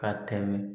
Ka tɛmɛ